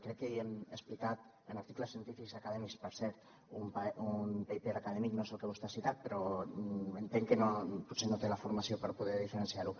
crec que ja hem explicat amb articles científics acadèmics per cert un paper acadèmic no és el que vostè ha citat però entenc que potser no té la formació per poder diferenciar ho